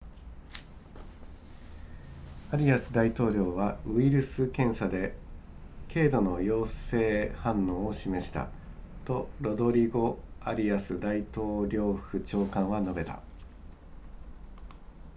アリアス大統領はウイルス検査で経度の陽性反応を示したとロドリゴアリアス大統領府長官は述べた